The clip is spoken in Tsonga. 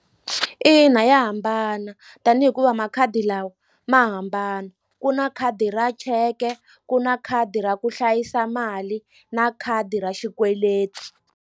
Ina ya hambana tani hikuva makhadi lawa ma hambana ku na khadi ra cheke ku na khadi ra ku hlayisa mali na khadi ra xikweleti.